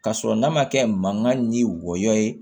Ka sɔrɔ n'a ma kɛ mankan ni wɔyɔ ye